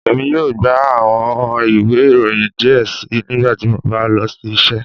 Emi yoo gba awọn iwe iroyin diẹ sii nigbati mo ba lọ si iṣẹ